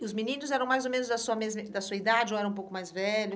E os meninos eram mais ou menos da sua mesma, da sua idade ou eram um pouco mais velho?